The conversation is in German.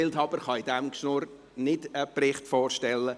Wildhaber kann bei diesem Gerede keinen Bericht vorstellen.